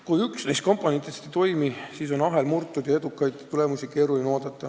Kui üks neist komponentidest ei toimi, siis on ahel murtud ja edukaid tulemusi keeruline oodata.